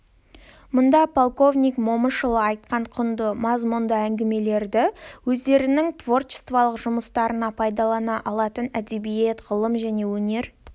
мұнда полковник момышұлы айтқан құнды мазмұнды әңгімелерді өздерінің творчестволық жұмыстарында пайдалана алатын әдебиет ғылым және өнер